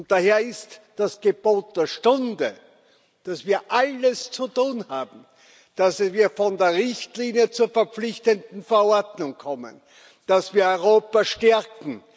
Daher ist das Gebot der Stunde, dass wir alles zu tun haben, dass wir von der Richtlinie zur verpflichtenden Verordnung kommen dass wir Europa stärken